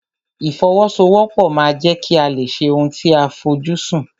Ìfọwọ́sowọ́pọ̀ ma ń jẹ́ kí a lè ṣe ohun tí a fojú sùn.